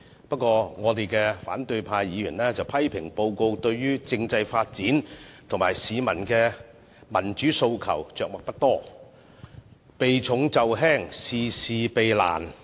不過，我們的反對派議員批評報告，對政制發展和市民的民主訴求着墨不多，避重就輕，事事避難。